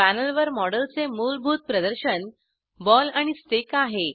पॅनेलवर मॉडेलचे मूलभूत प्रदर्शन बॉल आणि स्टिक आहे